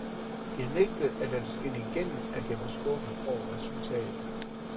Jeg nægtede at lade det skinne igennem, at jeg var skuffet over resultatet.